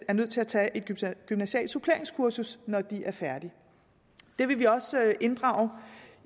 er nødt til at tage et gymnasialt suppleringskursus når de er færdige det vil vi også inddrage